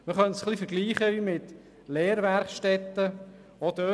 Man könnte es mit Lehrwerkstätten vergleichen.